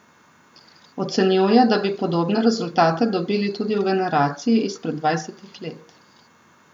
Ocenjuje, da bi podobne rezultate dobili tudi v generaciji izpred dvajsetih let.